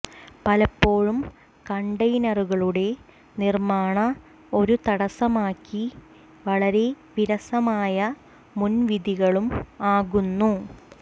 പലപ്പോഴും കണ്ടെയ്നറുകളുടെ നിർമ്മാണ ഒരു തടസ്സമാക്കി വളരെ വിരസമായ മുൻവിധികളും ആകുന്നു